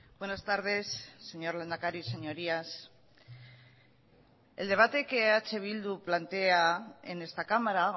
buenas tardes señor lehendakari señorías el debate que eh bildu plantea en esta cámara